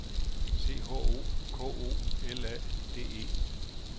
C H O K O L A D E